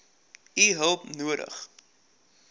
u hulp nodig